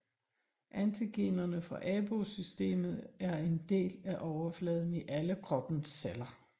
Antigenerne fra AB0 systemet er en del af overfladen i alle kroppens celler